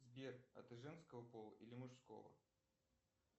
сбер а ты женского пола или мужского